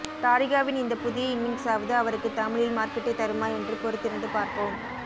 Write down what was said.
தாரிகாவின் இந்த புதிய இன்னிங்ஸாவது அவருக்கு தமிழில் மார்க்கெட்டைத் தருமா என்று பொறுத்திருந்து பார்ப்போம